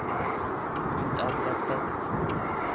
utadrettet